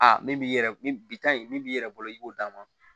Aa min b'i yɛrɛ ni bi ta in min b'i yɛrɛ bolo i b'o d'a ma